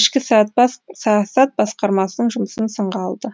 ішкі саясат басқармасының жұмысын сынға алды